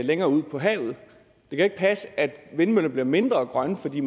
længere ud på havet det kan ikke passe at vindmøller bliver mindre grønne fordi